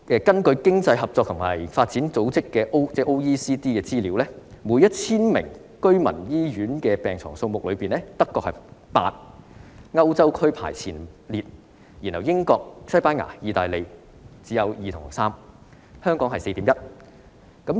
根據經濟合作與發展組織的資料，每 1,000 名居民可使用醫院病床的數目，德國為8張，在歐洲排名前列，英國、西班牙及意大利只有2張或3張，香港是 4.1 張。